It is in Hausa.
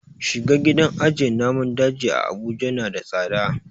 Shiga gidan ajiye naman daji a abuja na da tsada